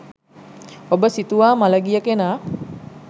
ඔබ සිතුවා මළගිය කෙනා